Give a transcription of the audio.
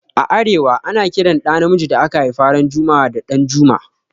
A arewa, ana Kiran ɗa na miji da aka haifa ran jumua'a da 'Danjuma'.